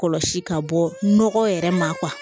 Kɔlɔsi ka bɔ nɔgɔ yɛrɛ ma